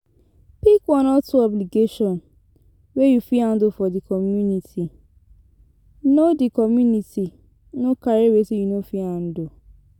Pick one or two obligation wey you fit handle for di community, no di community, no carry wetin you no fit handle